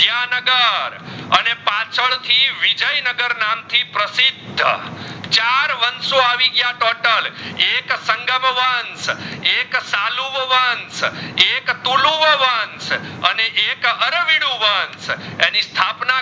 ના ઘર નામ થી પ્રસ્સિદ્ધ ચાર વાંશઓ આવી ગયા total એક સંગમ વંશ એક સલૂભ વંશ એક તુલુવું વંશ અને એક અરવિદુ વંશ એની સ્થ્પના